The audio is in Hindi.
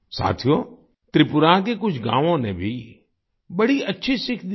साथियो त्रिपुरा के कुछ गाँवों ने भी बड़ी अच्छी सीख दी है